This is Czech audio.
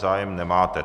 Zájem nemáte.